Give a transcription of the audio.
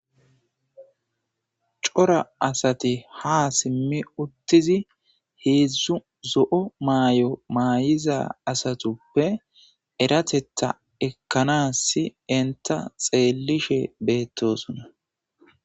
Cora asati ha simmi uttizi heedzdzu zo'o maay'o maayiza asatuppe eratetha ekkanassi enta xeelishe beettosonna.